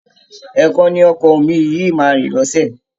Ẹ̀ẹ̀kan ni ọkọ̀ omi yìí máa rìn lọ́sẹ̀